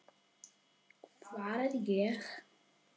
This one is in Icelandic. Hvar er ég?